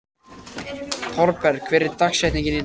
Thorberg, hver er dagsetningin í dag?